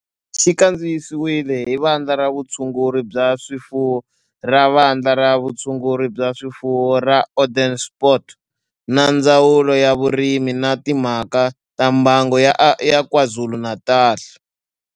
Xi kandziyisiwe hi Vandla ra Vutshunguri bya swifuwo ra Vandla ra Vutshunguri bya swifuwo ra Onderstepoort na Ndzawulo ya Vurimi na Timhaka ta Mbango ya KwaZulu-Natal.